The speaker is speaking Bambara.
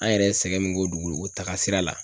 An yɛrɛ ye sɛgɛn min k'o dugukolo taga sira la